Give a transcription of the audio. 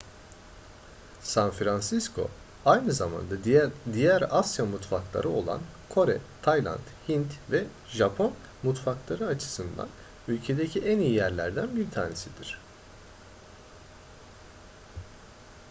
san francisco aynı zamanda diğer asya mutfakları olan kore tayland hint ve japon mutfakları açısından ülkedeki en iyi yerlerden bir tanesidir